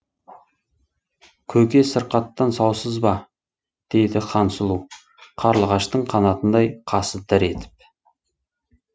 көке сыркаттан саусыз ба деді хансұлу қарлығаштың қанатындай қасы дір етіп